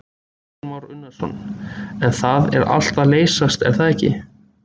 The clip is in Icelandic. Kristján Már Unnarsson: En það er allt að leysast er það ekki?